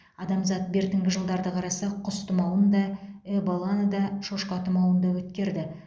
адамзат бертінгі жылдарды қарасақ құс тұмауын да эболаны да шошқа тұмауын өткерді